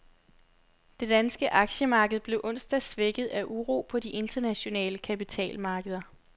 Det danske aktiemarked blev onsdag svækket af uro på de internationale kapitalmarkeder.